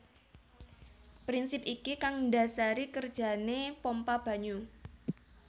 Prinsip iki kang ndasari kerjane pompa banyu